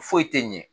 Foyi tɛ ɲɛ